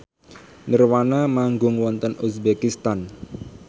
nirvana manggung wonten uzbekistan